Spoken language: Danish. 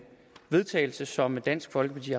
vedtagelse som dansk folkeparti